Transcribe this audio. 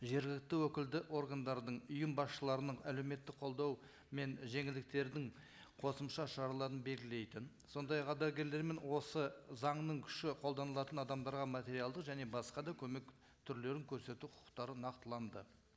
жергілікті өкілді органдардың ұйым басшыларының әлеуметтік қолдау мен жеңілдіктердің қосымша шараларын белгілейтін сондай ақ ардагерлермен осы заңның күші қолданылатын адамдарға материалдық және басқа да көмек түрлерін көрсету құқықтары нақтыланды